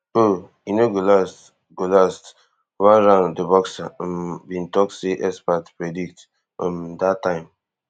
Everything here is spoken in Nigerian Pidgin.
um e no go last go last one round di boxer um bin tok say experts predict um dat time